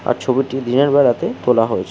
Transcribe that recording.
আর ছবিটি দিনের বেলাতে তোলা হয়েছে।